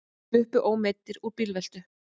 Sluppu ómeiddir úr bílveltu